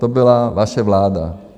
To byla vaše vláda.